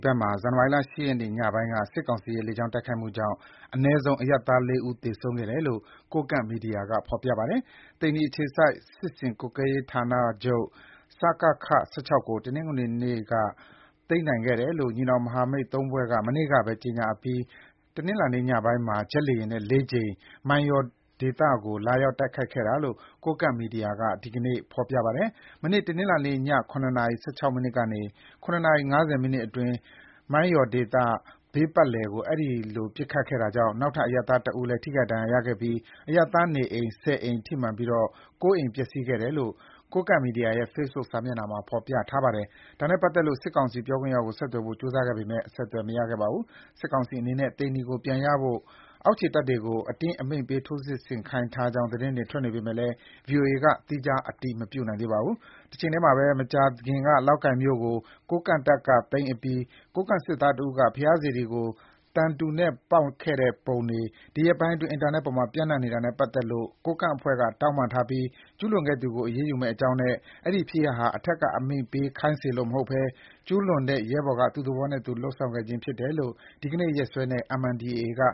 ဘက်မှာ ဇန်နဝါရီလ ၈ ရက်နေ့ ညပိုင်းက စစ်ကောင်စီရဲ့ လေကြောင်း တိုက်မှုကြောင့် အနည်းဆုံး အရပ်သား ၄ ဦး သေဆုံးခဲ့တယ်လို့ ကိုးကန့်မီဒီယာက ဆိုပါတယ်။ သိန္နီအခြေစိုက် စစ်ဆင်ရေးကွပ်ကွဲမှုဌာနချုပ် (စကခ) ၁၆ ကို တနေ့ တနင်္ဂနွေနေ့က သိမ်းနိုင်ခဲ့တယ်လို့ ညီနောင်မဟာမိတ် ၃ ဖွဲ့က မနေ့ကပဲ ကြေညာအပြီး တနင်္လာညပိုင်းမှာ ဂျက်လေယာဉ်နဲ့ ၄ ကြိမ် မိုင်းယော်ဒေသကို လာရောက် တိုက်ခိုက်ခဲ့တာလို့ ကိုးကန့်မီဒီယာမှာ ဒီကနေ့ ဖော်ပြပါတယ်။ မနေ့ တနင်္လာနေ့ည ၇ နာရီ ၁၆ မိနစ်ကနေ ၇ နာရီ ၅၀ မိနစ်အတွင်း မိုင်းယော်ဒေသ ဘေးပတ်ပတ်လည်ကို အဲဒီလို ပစ်ခတ်ခဲ့တာကြောင့် နောက်ထပ် အရပ်သား တစ်ဦးလဲ ဒဏ်ရာရခဲ့ပြီး အရပ်သားနေအိမ် ၁၀ အိမ် ထိမှန်ကာ ၉ အိမ်ပျက်စီးခဲ့တယ်လို့ ကိုးကန့်မီဒီယာရဲ့ Facebook စာမျက်နှာမှာ ဖော်ပြထားပါတယ်။ ဒါနဲ့ပတ်သက်လို့ စစ်ကောင်စီ ပြောခွင့်ရကို ဆက်သွယ်ဖို့ ကြိုးစားခဲ့ပေမယ့် အဆက်အသွယ်မရခဲ့ပါဘူး။ စစ်ကောင်စီအနေနဲ့ သိန္နီကို ပြန်ရနိုင်ဖို့ အောက်ခြေတပ်တွေကို အတင်းအမိန့်ပေး ထိုးစစ်ဆင်ခိုင်းထားကြောင်း သတင်းတွေထွက်နေပေမဲ့ ဗွီအိုအေက သီးခြား အတည်မပြုနိုင်သေးပါဘူး။ တချိန်ထဲမှာပဲ မကြာခင်က လောက်ကိုင်မြို့ကို ကိုးကန့်တပ်က သိမ်းအပြီး ကိုးကန့်စစ်သားတဦးက ဘုရားစေတီကို သံတူနဲ့ပေါက်ခဲ့တဲ့ပုံတွေ ဒီရက်ပိုင်း အင်တာနက်အပေါ် ပျံနှံ့နေတာနဲ့ပတ်သက်လို့ ကိုးကန့်အဖွဲ့က တောင်းပန်ထားပြီး ကျုးလွန်ခဲ့သူကို အရေးယူမယ့်အကြောင်းနဲ့ အဲဒီဖြစ်ရပ်ဟာ အထက်ကအမိန့်ပေးခိုင်းစေလို့မဟုတ်ဘဲ ကျူးလွန်တဲ့ ရဲဘော်က သူ့သဘောနဲ့သူ လုပ်ဆောင်ခဲ့ခြင်းဖြစ်တယ်လို့ ဒီနေ့ ရက်စွဲနဲ့ MNDAA က